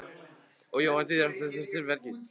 Og Jóhann hvað þýðir það nú að siðanefnd sé virkjuð?